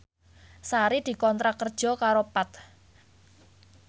Sari dikontrak kerja karo Path